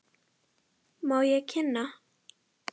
Má ég kynna.